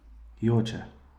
Joče.